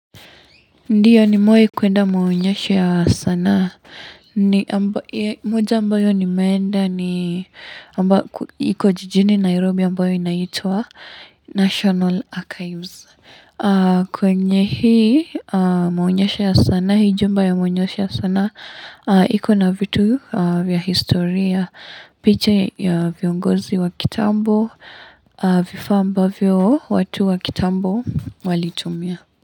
Ndiyo nimwe kuenda maunyesh ya sana. Moja ambayo nimeenda ni ambayo iko jijini Nairobi ambayo inaitwa National Archives. Kwenye hii maonyesho ya sana, hii jumba ya maunyesho ya sana, iko na vitu vya historia, picha ya viongozi wa kitambo, vifaa ambavyo watu wa kitambo walitumia.